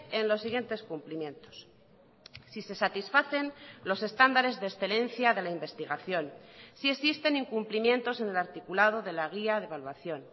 en los siguientes cumplimientos si se satisfacen los estándares de excelencia de la investigación si existen incumplimientos en el articulado de la guía de evaluación